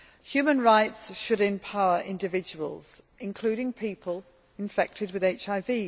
Human rights should empower individuals, including people affected with HIV.